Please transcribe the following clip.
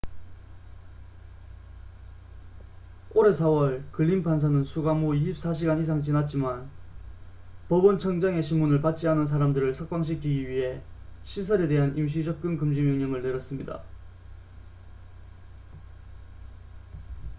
올해 4월 글린 판사는 수감 후 24시간 이상 지났지만 법원 청장의 심문을 받지 않은 사람들을 석방시키기 위해 시설에 대한 임시 접근 금지 명령을 내렸습니다